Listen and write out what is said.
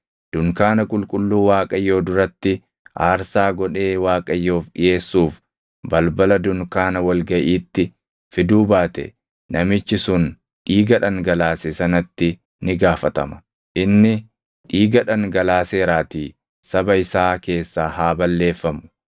dunkaana qulqulluu Waaqayyoo duratti aarsaa godhee Waaqayyoof dhiʼeessuuf balbala dunkaana wal gaʼiitti fiduu baate namichi sun dhiiga dhangalaase sanatti ni gaafatama; inni dhiiga dhangalaaseeraatii saba isaa keessaa haa balleeffamu.